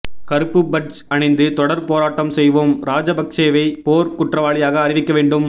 கருப்பு பட்ஜ் அணிந்து தொடர் போராட்டம் செய்வோம் ராஜபக்சேவை போர் குற்றவாளியாக அறிவிக்க வேண்டும்